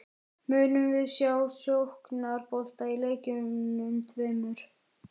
Munum við sjá sóknarbolta í leikjunum tveimur?